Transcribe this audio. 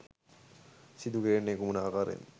සිදු කෙරෙන්නේ කුමන ආකාරයෙන්ද?